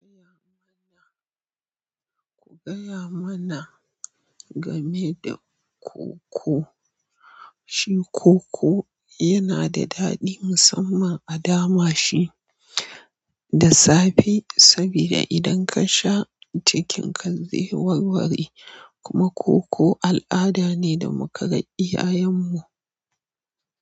Gaya mana, ku gaya mana game da koko. Shi koko yana da daɗi musamman a dama shi da safe saboda idan ka sha cikin ka zai warware kuma koko al'ada ne da muka ga iya yanmu.